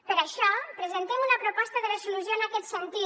per això presentem una proposta de resolució en aquest sentit